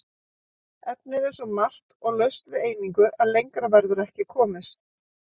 Efnið er svo margt og laust við einingu að lengra verður ekki komist.